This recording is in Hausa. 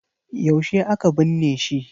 Yaushe aka binne shi?